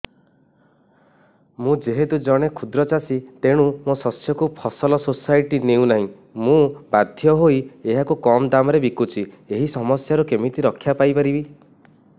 ମୁଁ ଯେହେତୁ ଜଣେ କ୍ଷୁଦ୍ର ଚାଷୀ ତେଣୁ ମୋ ଶସ୍ୟକୁ ଫସଲ ସୋସାଇଟି ନେଉ ନାହିଁ ମୁ ବାଧ୍ୟ ହୋଇ ଏହାକୁ କମ୍ ଦାମ୍ ରେ ବିକୁଛି ଏହି ସମସ୍ୟାରୁ କେମିତି ରକ୍ଷାପାଇ ପାରିବି